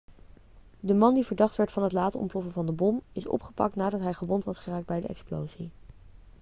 de man die verdacht werd van het laten ontploffen van de bom is opgepakt nadat hij gewond was geraakt bij de explosie